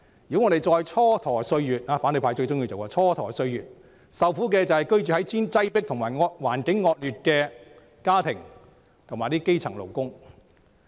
如果我們再蹉跎歲月——即反對派最喜歡做的事——受苦的會是居於擠迫和惡劣環境的家庭及基層勞工。